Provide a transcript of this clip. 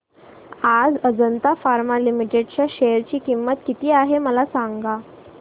आज Ajanta pharma limited च्या share ची किंमत किती आहे मला सांगा